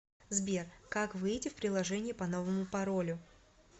сбер как выйти в приложение по новому паролю